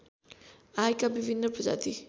आएका विभिन्न प्रजाति